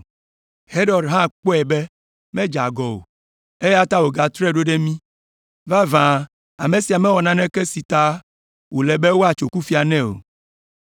Herod hã kpɔe be medze agɔ o, eya ta wògatrɔe ɖo ɖe mí. Vavã ame sia mewɔ naneke si ta wòle be woatso kufia nɛ o.